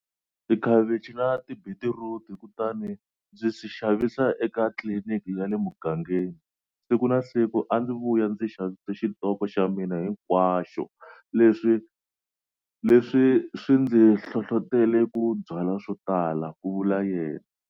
Tikhavichi na tibitiruti, kutani ndzi swi xavisa eka tliliniki ya le mugangeni. Siku na siku a ndzi vuya ndzi xavise xitoko xa mina hinkwaxo. Leswi swi ndzi hlohlotele ku byala swotala, ku vula yena.